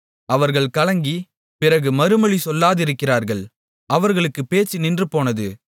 அவர்கள் கலங்கி பிறகு மறுமொழி சொல்லாதிருக்கிறார்கள் அவர்களுக்குப் பேச்சு நின்றுபோனது